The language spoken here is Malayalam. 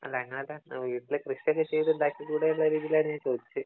അല്ല എന്നാലും വീട്ടില് കൃഷി ഒക്കെ ചെയ്തു ഉണ്ടാക്കി കൂടെ എന്നുള്ള രീതിലാണ് ഞാൻ ചോദിച്ചേ